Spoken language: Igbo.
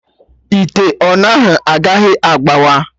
Ite ọna ahụ agaghị agbawa